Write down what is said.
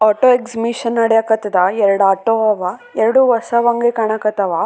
ತರಾ ಮಾಡಿ ಯರಡು ಆಟೋ ರಿಕ್ಷಾ ಗಳು--